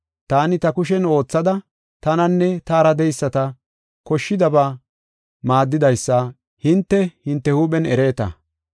Taani ta kushen oothada tananne taara de7eyisata koshshidaba maaddidaysa hinte, hinte huuphen ereeta.